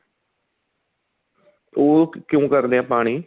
ਉਹ ਕਿਉਂ ਕਰਦੇ ਏ ਪਾਣੀ